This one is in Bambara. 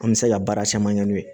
An bɛ se ka baara caman kɛ n'o ye